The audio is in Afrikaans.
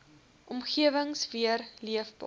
omgewings weer leefbaar